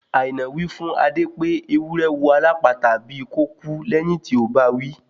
Àìná wí fún Adé pé ewúrẹ́ wò alápatà bíi kò kú lẹ́yìn tí ó bawí